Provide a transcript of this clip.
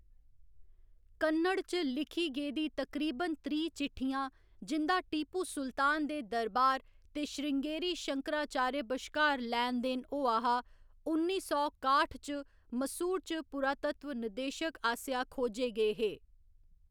कन्नड़ च लिखी गेदी तकरीबन त्रीह्‌ चिट्ठियां, जिं'दा टीपू सुल्तान दे दरबार ते श्रृंगेरी शंकाराचार्य बश्कार लैन देन होआ हा, उन्नी सौ काट्ठ च मैसूर च पुरातत्व निदेशक आसेआ खोजे गे हे।